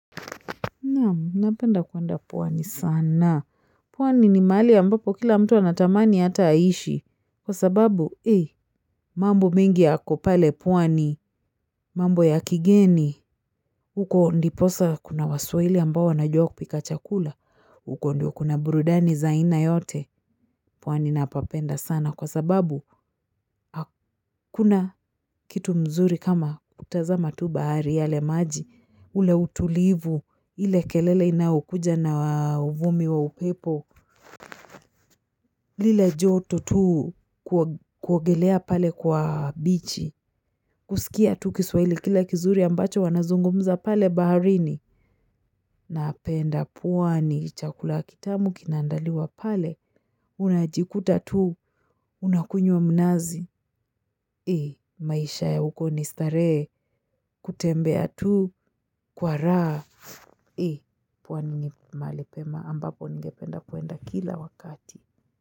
Naam, napenda kwenda pwani sana. Pwani ni mahali ambapo kila mtu anatamani hata aishi. Kwa sababu, mambo mengi yako pale pwani, mambo ya kigeni, huko ndiposa kuna waswahili ambao wanajua kupika chakula, huko ndio kuna burudani za aina yote. Pwani napapenda sana kwa sababu hakuna kitu mzuri kama kutazama tu bahari yale maji ule utulivu ile kelele inayokuja na uvumi wa upepo lile joto tu kuogelea pale kwa bichi kuskia tu kiswaili kila kizuri ambacho wanazungumza pale baharini napenda pwani chakula kitamu kinaandaliwa pale unajikuta tu unakunywa mnazi, maisha ya huko ni starehe kutembea tu kwa raha. Pwani ni mahali pema ambapo ningependa kwenda kila wakati.